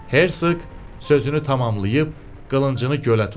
Herşoq sözünü tamamlayıb qılıncını gölə tulladı.